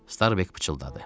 Starbek pıçıldadı.